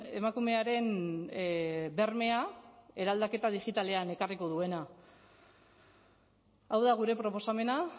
emakumearen bermea eraldaketa digitalean ekarriko duena hau da gure proposamena